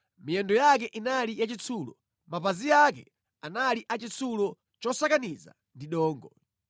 Miyendo yake inali yachitsulo, mapazi ake anali achitsulo chosakaniza ndi dongo.